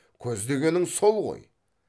көздегенің сол ғой